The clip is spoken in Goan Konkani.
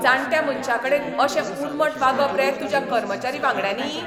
जाण्ट्या मनशाकडेन अशें उर्मट वागप रे तुज्या कर्मचारी वांगड्यांनी?